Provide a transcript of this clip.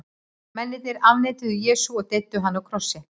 Mennirnir afneituðu Jesú og deyddu hann á krossi.